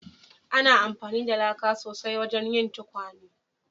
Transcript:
Ana amfani da laka sosai wajen yin tukwane